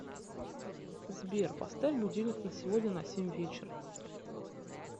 сбер поставь будильник на сегодня на семь вечера